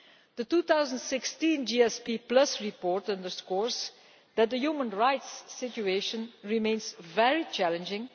The 2016 GSP Report underscores that the human rights situation remains very challenging.